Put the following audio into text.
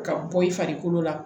Ka bɔ i farikolo la